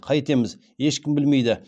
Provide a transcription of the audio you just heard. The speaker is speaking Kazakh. қайтеміз ешкім білмейді